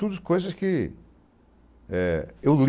São coisas que eu li.